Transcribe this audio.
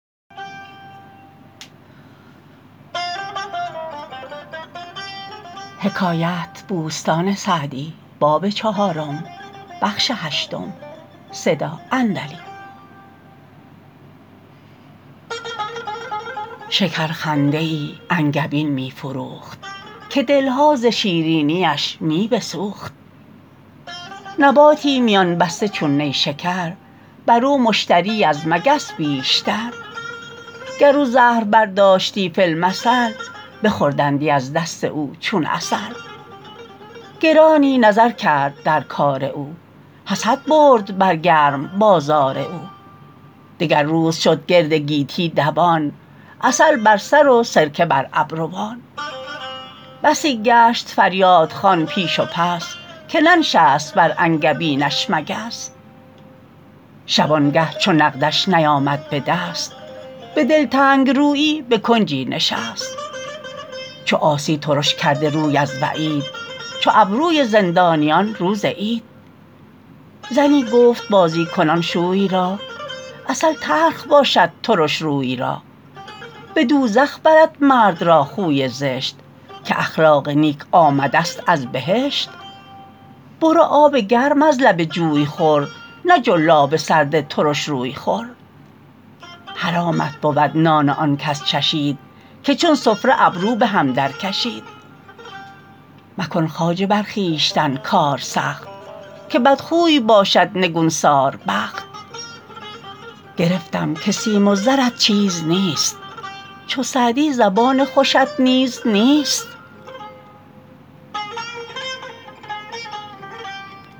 شکر خنده ای انگبین می فروخت که دلها ز شیرینیش می بسوخت نباتی میان بسته چون نیشکر بر او مشتری از مگس بیشتر گر او زهر برداشتی فی المثل بخوردندی از دست او چون عسل گرانی نظر کرد در کار او حسد برد بر گرم بازار او دگر روز شد گرد گیتی دوان عسل بر سر و سرکه بر ابروان بسی گشت فریادخوان پیش و پس که ننشست بر انگبینش مگس شبانگه چو نقدش نیامد به دست به دلتنگ رویی به کنجی نشست چو عاصی ترش کرده روی از وعید چو ابروی زندانیان روز عید زنی گفت بازی کنان شوی را عسل تلخ باشد ترش روی را به دوزخ برد مرد را خوی زشت که اخلاق نیک آمده ست از بهشت برو آب گرم از لب جوی خور نه جلاب سرد ترش روی خور حرامت بود نان آن کس چشید که چون سفره ابرو به هم در کشید مکن خواجه بر خویشتن کار سخت که بدخوی باشد نگون سار بخت گرفتم که سیم و زرت چیز نیست چو سعدی زبان خوشت نیز نیست